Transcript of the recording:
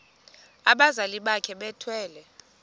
abazali bakhe bethwele